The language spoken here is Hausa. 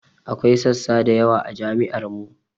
Akwai sassa da yawa a jami'ar mu